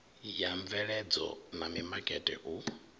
wa mveledzo na mimakete u